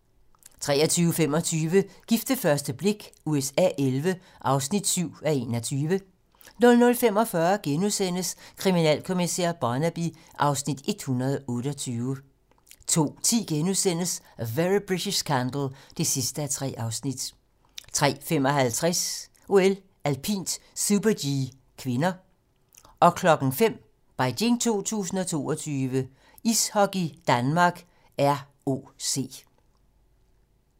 23:25: Gift ved første blik USA XI (7:21) 00:45: Kriminalkommissær Barnaby (Afs. 128)* 02:10: A Very British Scandal (3:3)* 03:55: OL: Alpint - super-G (k) 05:00: Beijing 2022: Ishockey: Danmark - ROC